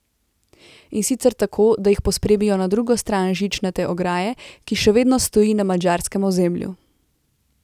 In sicer tako, da jih pospremijo na drugo stran žičnate ograje, ki še vedno stoji na madžarskem ozemlju.